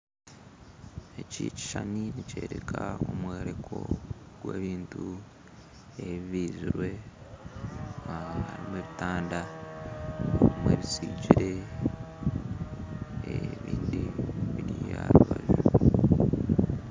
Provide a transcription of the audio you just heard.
Eki ekishushani nikyoreka omworeko gw'ebintu ebibizirwe, harimu ebitanda harimu ebisigire ebindi biri aha rubaju